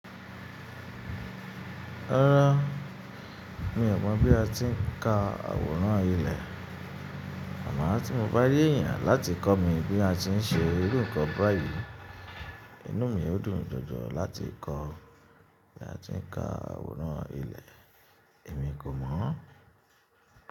Rárá, mi ò mọ̀ bí a ti ń ka àwòrán ilẹ̀. Àmà tí mo bá rí èèyàn láti kọ́ mi bí a ti ń ṣe irú ìkan báyìí, inú mi yóò dùn jọjọ láti kọ bí a ti ń ka àwòrán ilẹ̀, èmi kò mọ̀ ọ́n.